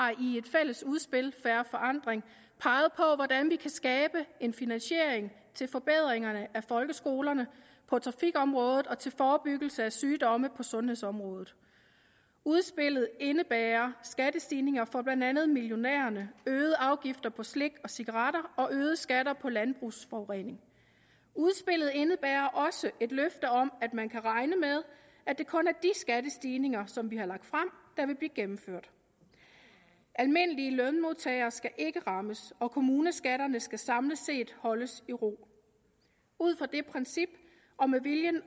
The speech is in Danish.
fælles udspil fair forandring peget på hvordan vi kan skabe en finansiering til forbedringerne af folkeskolerne på trafikområdet og til forebyggelse af sygdomme på sundhedsområdet udspillet indebærer skattestigninger for blandt andet millionærerne øgede afgifter på slik og cigaretter og øgede skatter på landbrugets forurening udspillet indebærer også et løfte om at man kan regne med at det kun er de skattestigninger som vi har lagt frem der vil blive gennemført almindelige lønmodtagere skal ikke rammes og kommuneskatterne skal samlet set holdes i ro ud fra det princip og med vilje